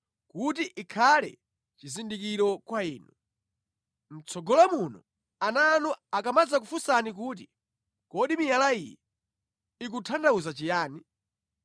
kuti ikhale chizindikiro kwa inu. Mʼtsogolo muno ana anu akamadzakufunsani kuti, ‘Kodi miyala iyi ikutanthauza chiyani?’